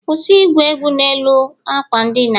kwụsị igwu egwu n'elu akwa ndina